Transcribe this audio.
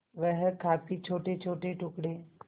वह काफी छोटेछोटे टुकड़े